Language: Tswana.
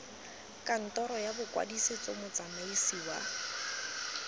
kantoro ya bokwadisetso motsamaisi wa